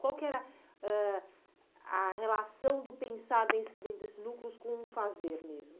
Qual que era ãh a relação do pensar dentro desses núcleos com o fazer mesmo?